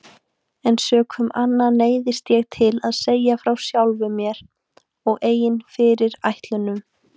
En sökum anna neyðist ég til að segja frá sjálfum mér og eigin fyrirætlunum.